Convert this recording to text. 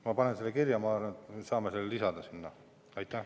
Ma panen selle kirja, ma arvan, et me saame selle sinna lisada.